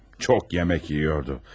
Çox yemək yeyirdi.